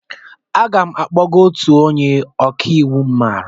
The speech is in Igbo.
Aga m akpọgaa otu onye ọka iwu m maara.